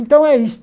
Então é isso.